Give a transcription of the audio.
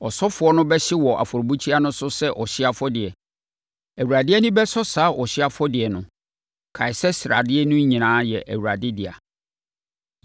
Ɔsɔfoɔ no bɛhye wɔ afɔrebukyia no so sɛ ɔhyeɛ afɔdeɛ. Awurade ani bɛsɔ saa ɔhyeɛ afɔdeɛ no. Kae sɛ sradeɛ no nyinaa yɛ Awurade dea.